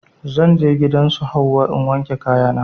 Zan je gidan su Hauwa in wanke kaya na